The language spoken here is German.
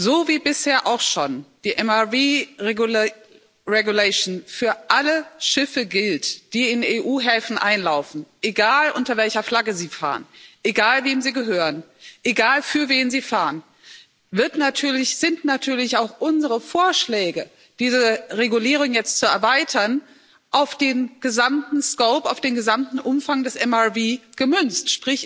So wie bisher auch schon die MRV regulation für alle Schiffe gilt, die in EU Häfen einlaufen, egal unter welcher Flagge sie fahren, egal wem sie gehören, egal für wen sie fahren, sind natürlich auch unsere Vorschläge, diese Regulierung jetzt zu erweitern, auf den gesamten scope, auf den gesamten Umfang des MRV gemünzt.